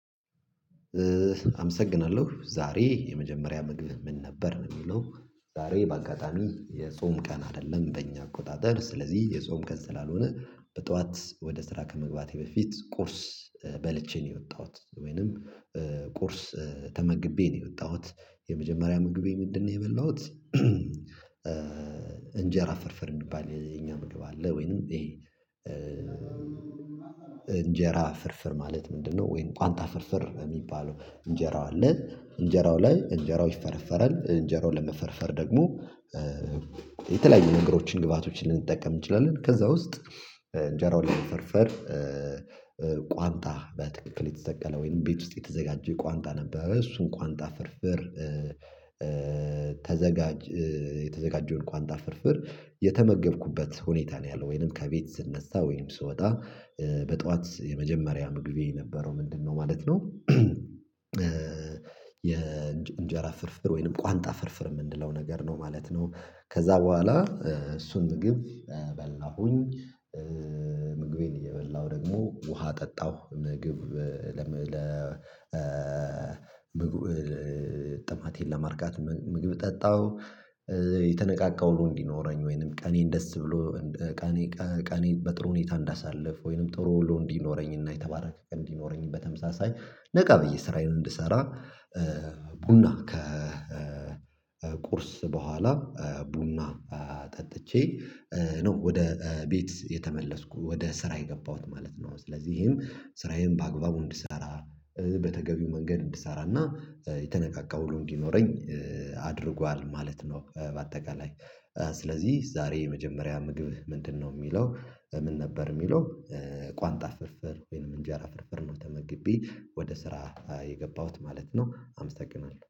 አመሰግናለሁ! ዛሬ የመጀመሪያ ምግብ ምን ነበር የሚለው ዛሬ በአጋጣሚ የጾም ቀን አይደለም በእኛ አቆጣጠር፤ ስለዚህ የጾም ቀን ስላልሆነ በጠዋት ወደ ስራ ከመግባቴ በፊት ቁርስ በልቼ ነው የወጣሁት ወይንም ቁርስ ተመግቤ ነው የወጣሁት የመጀመሪያ ምግቤ ምንድነው የበላሁት እንጀራ ፈርፈር እንዲባል የኛ ምግብ አለ ወይንም ይሄ እንጀራ ፍርፍር ማለት ምንድነው ወይን ቋንጣ ፍርፍር እሚባለው እንጀራው አለ እንጀራው ላይ እንጀራው ይፈረፈራል እንጀራውን ለመፈርፈር ደግሞ የተለያዩ ነገሮችን ግብአቶችን ልንጠቀም እንችላለን ከዛ ውስጥ እንጀራውን ለፈርፈር በትክክል የተሰቀለ ወይንም ቤት ውስጥ የተዘጋጀ ቋንጣ ነበረ እሱን ቋንጣ ፍርፍር ተዘጋጅ የተዘጋጀውን ቋንጣ ፍርፍር የተመገብኩበት ሁኔታ ነው ያለው ወይንም ከቤት ስነሳ ወይንም ስወጣ በጧት የመጀመሪያ ምግቤ የነበረው ምንድነው ማለት ነው የእንጀራ ፍርፍር ወይንም ቋንጣ ፍርፍር የምንለው ነገር ነው ማለት ነው። ከዛ በኋላ እሱን ምግብ በላሁኝ ምግቤን እየበላሁ ደግሞ ውሃ ጠጣሁ ምግብ ለምግብ ጥማቴን ለማርካት ምግብ ጠጣው የተነቃቃ ውሎ እንዲኖረኝ ወይንም ቀኔን ደስ ብሎ ቀኔ ቀኔን በጥሩ ሁኔታ እንዳሳልፍ ወይንም ጥሩ ወሎ እንዲኖረኝና የተባረከ እንዲኖረኝ በተመሳሳይ ነቃ ብዬ ስራዬን እንድሰራ ቡና ከ ቁርስ በኋላ ቡና ጠጥቼ ነው ወደ ቤት የተመለስኩ ወደ ስራ የገባሁት ማለት ነው። ስለዚህም ስራዬን በአግባቡ እንድሰራ በተገቢው መንገድ እንድሰራና የተነቃቃ ውሎ እንዴኖረኝ አድርጓል ማለት ነው በአጠቃላይ ስለዚህ ዛሬ የመጀመሪያ ምግብ ምንድነው የሚለው ምን ነበር የሚለው ቋንጣ ፍርፍር ወይንም እንጀራ ፍርፍር ነው ተመግቢ ወደ ስራ የገባሁት ማለት ነ። አመሰግናለሁ!